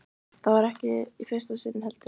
Það var ekki í fyrsta sinn, heldur.